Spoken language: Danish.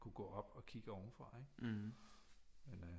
Kunne gå op og kigge ovenfra ikke